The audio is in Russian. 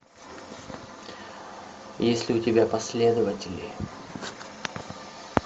есть ли у тебя последователи